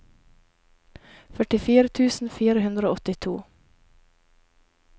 førtifire tusen fire hundre og åttito